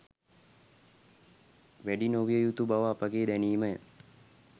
වැඩි නොවිය යුතු බව අපගේ දැනීම ය